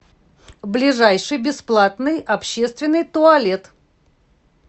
ближайший бесплатный общественный туалет